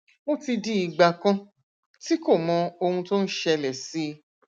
ó ti di ìgbà kan tí kò mọ ohun tó ń ṣẹlẹ sí i